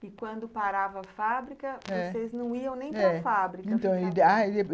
E quando parava a fábrica, eh, vocês não iam nem para a fábrica.